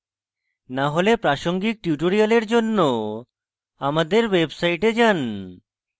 না হলে প্রাসঙ্গিক tutorials জন্য আমাদের website যান